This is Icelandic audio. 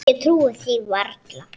Ég trúði því varla.